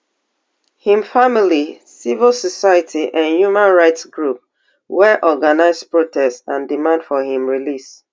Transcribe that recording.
im family civil society and human rights group wey organise protests and demand for im release